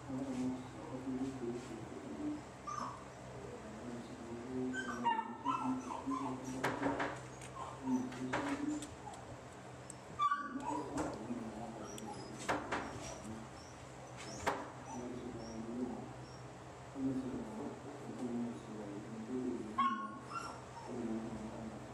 naa keramati sii, keishori irkek le fitamin ore sii pee eeku keeta ilmasherr neitukui aitobiraki nenya sii shimbi, neeku eisapuk oleng eramatare oo ntokitin tenkop nainguaa nanu ,naa ore sii kuna tokitin tinijo aingurr naa kenya doi iltunganak too ngolongi oo siruai ninje doi eyiengi naa pee etumoki iltungana ainosa.